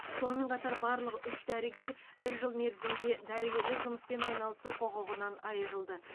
сонымен қатар барлық үш дәрігер бір жыл мерзімге дәрігерлік жұмыспен айналысу құқығынан айырылды